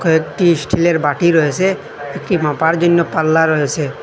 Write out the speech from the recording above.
একটি স্টিলের বাটি রয়েসে একটি মাপার জন্য পাল্লা রয়েসে।